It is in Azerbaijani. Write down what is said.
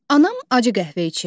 Anam acı qəhvə içir.